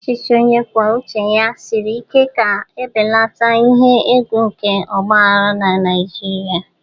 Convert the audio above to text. Ọchịchị onye kwuo uche ya siri ike ga-ebelata ihe egwu nke ọgba aghara na Nigeria.